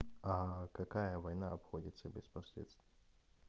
какая война обходится без последствий